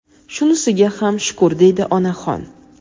Shunisiga ham shukur deydi onaxon.